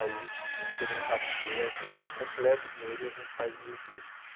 Aí eles teriam um cachê, ai eu falei, olha, eu completo o dinheiro e a gente faz mil discos.